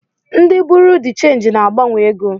Ndi Buruu de chenji na-agbanwe ego.